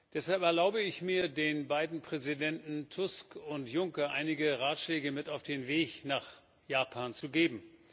Deshalb erlaube ich mir, den beiden Präsidenten Tusk und Juncker einige Ratschläge mit auf den Weg nach Japan zu geben.